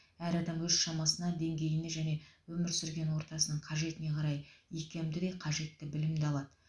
әр адам өз шамасына деңгейіне және өмір сүрген ортасының қажетіне қарай икемді де қажетті білімді алады